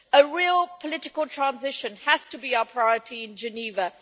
A real political transition has to be a priority in Geneva.